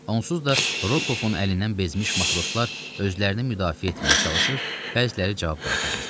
Onsuz da Rokovun əlindən bezmiş matroslar özlərini müdafiə etməyə çalışır, bəziləri cavab qaytarırdı.